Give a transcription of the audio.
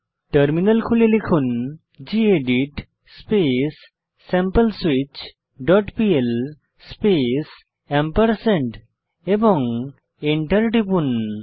terminal খুলে লিখুন gedit space sample switch dot PL space এবং এন্টার টিপুন